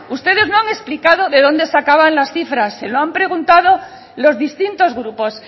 ustedes no han explicado de donde sacaban las cifras se lo han preguntado los distintos grupos